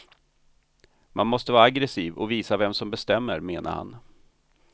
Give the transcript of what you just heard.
Man måste vara aggressiv och visa vem som bestämmer, menade han.